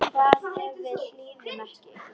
Hvað ef við hlýðum ekki?